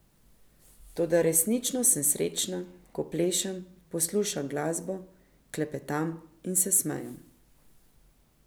Toda resnično sem srečna, ko plešem, poslušam glasbo, klepetam in se smejem.